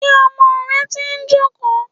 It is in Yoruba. Ṣé ọmọ rẹ ti ń jókòó.